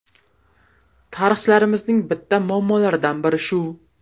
Tarixchilarimizning bitta muammolaridan biri shu.